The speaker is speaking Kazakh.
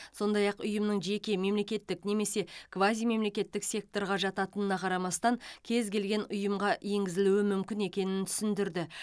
сондай ақ ұйымның жеке мемлекеттік немесе квазимемлекеттік секторға жататынына қарамастан кез келген ұйымға енгізілуі мүмкін екенін түсіндірді